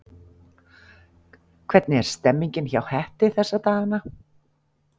Hvernig er stemningin hjá Hetti þessa dagana?